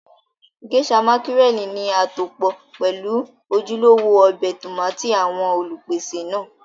Geisha mákírẹ̀lì ní àtòpọ́ pelu ojúlówó ọbẹ̀ tómátì àwọn Olùpèsè náà